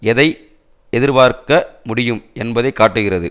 எதை எதிர்பார்க்க முடியும் என்பதை காட்டுகிறது